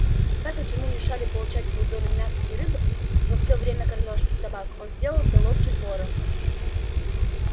так как ему мешали получать свою долю мяса и рыбы во всё время общей кормёжки собак он сделался ловким вором